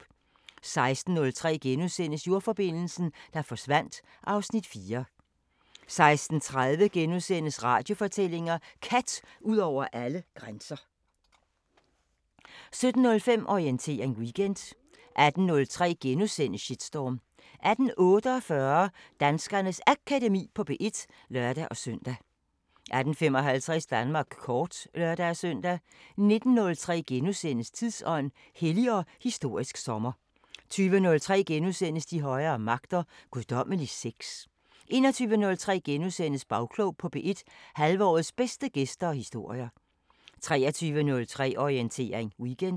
16:03: Jordforbindelsen, der forsvandt (Afs. 4)* 16:30: Radiofortællinger: Kat ud over alle grænser * 17:05: Orientering Weekend 18:03: Shitstorm * 18:48: Danskernes Akademi på P1 (lør-søn) 18:55: Danmark kort (lør-søn) 19:03: Tidsånd: Hellig og historisk sommer * 20:03: De højere magter: Guddommelig sex * 21:03: Bagklog på P1: Halvårets bedste gæster og historier * 23:03: Orientering Weekend